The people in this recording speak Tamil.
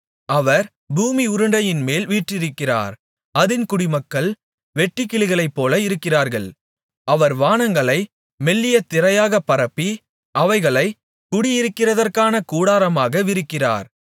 அவர் பூமி உருண்டையின்மேல் வீற்றிருக்கிறவர் அதின் குடிமக்கள் வெட்டுக்கிளிகளைப்போல இருக்கிறார்கள் அவர் வானங்களை மெல்லிய திரையாகப் பரப்பி அவைகளைக் குடியிருக்கிறதற்கான கூடாரமாக விரிக்கிறார்